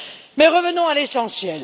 Mais revenons à l'essentiel.